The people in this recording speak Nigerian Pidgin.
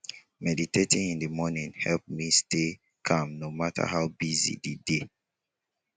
meditating in the morning help me stay calm no matter how busy di day.